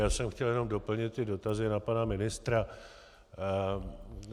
Já jsem chtěl jenom doplnit ty dotazy na pana ministra.